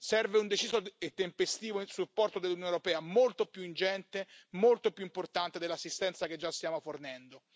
Serve un deciso e tempestivo supporto dell'Unione europea, molto più ingente, molto più importante dell'assistenza che già stiamo fornendo.